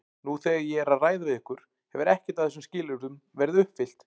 Nú þegar ég er að ræða við ykkur hefur ekkert af þessum skilyrðum verið uppfyllt.